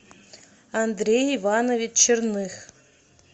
андрей иванович черных